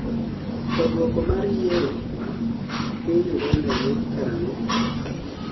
to, duoko mar yiero piny Uganda wuok kara ang'o